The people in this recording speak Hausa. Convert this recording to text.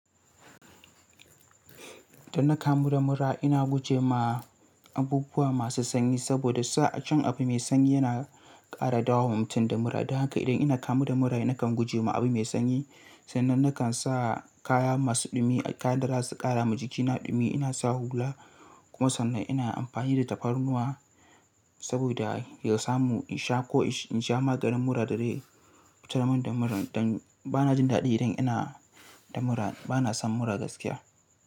Da na kamu da mura ina guje ma abubuwa masu sanyi saboda sa'a cin abu mai sanyi yana ƙara dawowa mutum da mura. Dan haka idan ina kamu da mura nakan guje ma abu mai sanyi, sannan nakan sa kaya masu ɗumi, kayan da za su ƙara ma jikina ɗumi. Ina sa hula kuma sannan ina amfani da tafarnuwa saboda ya samu in sha ko in sha maganin mura da zai fitar mun da mura. Dan bana jin daɗi idan ina da mura, bana son mura gaskiya.